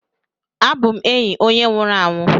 abum enyi onye nwuru anwu